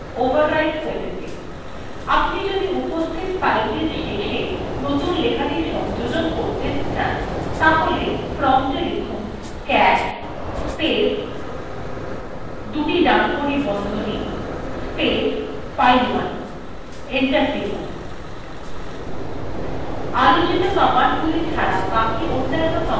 আপনি যদি উপস্থিত fileটির শেষে নতুন লেখাটি সংযোজন করতে cat তাহলে promptএ cat space দুটি ডানকোনি বন্ধনী space file1 লিখে enter টিপুন